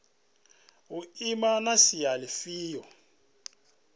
u ima na sia lifhio